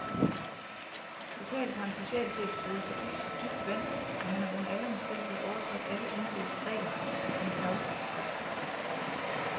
Lokalt har en socialchef rodet sig ud på dybt vand, og han har under alle omstændigheder overtrådt alle embedets regler om tavshedspligt.